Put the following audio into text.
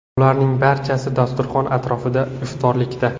Ularning barchasi dasturxon atrofida iftorlikda.